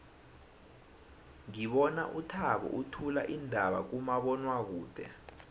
ngibona uthabo uthula iindaba kumabonwakude